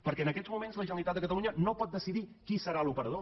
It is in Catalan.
perquè en aquests moments la generalitat de catalunya no pot decidir qui serà l’operador